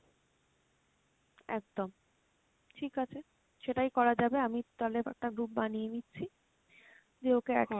একদম, ঠিক আছে সেটাই করা যাবে আমি তালে একটা group বানিয়ে নিচ্ছি, দিয়ে ওকে add